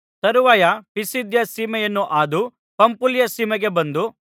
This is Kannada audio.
ತರುವಾಯ ಪಿಸಿದ್ಯ ಸೀಮೆಯನ್ನು ಹಾದು ಪಂಫುಲ್ಯ ಸೀಮೆಗೆ ಬಂದು